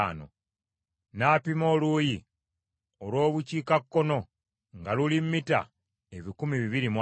N’apima oluuyi olw’Obukiikakkono nga luli mita ebikumi bibiri mu ataano.